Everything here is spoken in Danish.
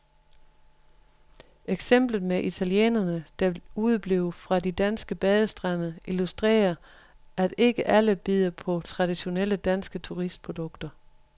Eksemplet med italienerne, der udeblev fra de danske badestrande, illusterer, at ikke alle bider på det traditionelle danske turistprodukt.